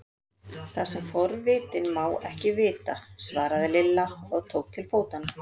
Það sem forvitinn má ekki vita! svaraði Lilla og tók til fótanna.